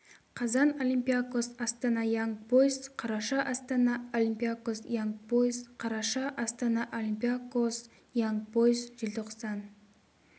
қазан олимпиакос астана янг бойз қараша астана олимпиакос янг бойз қараша астана олимпиакос янг бойз желтоқсан